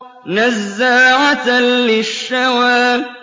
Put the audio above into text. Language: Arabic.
نَزَّاعَةً لِّلشَّوَىٰ